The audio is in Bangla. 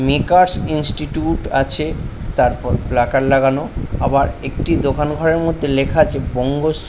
মেকার্স ইনস্টিটিউট আছে তারপর প্লাটার লাগানো আবার একটি দোকান ঘরের মধ্যে লেখা আছে বঙ্গ স--